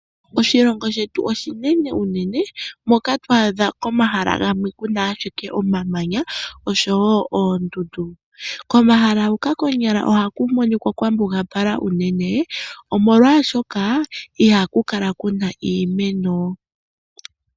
Oshilongo shetu oshinene unene moka to adha komahala gamwe ku na ashike omamanya osho wo oondundu. Komahala huka konyala ohaku monika kwa mbugapala unene, omolwashoka ihaku kala ku na iimeno.